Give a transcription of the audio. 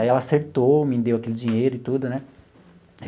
Aí ela acertou, me deu aquele dinheiro e tudo né.